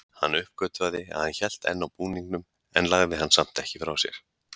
Hann uppgötvaði að hann hélt enn á búningnum en lagði hann samt ekki frá sér.